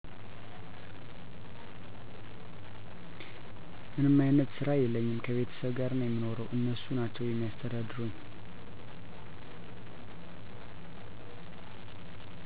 ምንም አይነት ስራ የለኝም ከቤተሰብ ጋር የምኖረው እነሱ ናቸው የሚያስተዳድሩኝ